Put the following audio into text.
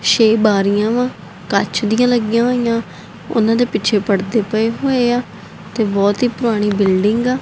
ਛੇ ਬਾਰੀਆਂ ਵਾ ਕੱਚ ਦੀਆਂ ਲੱਗੀਆਂ ਹੋਈਆਂ ਉਹਨਾਂ ਦੇ ਪਿੱਛੇ ਪੜਦੇ ਪਏ ਹੋਏ ਆ ਤੇ ਬਹੁਤ ਹੀ ਪੁਰਾਣੀ ਬਿਲਡਿੰਗ ਆ।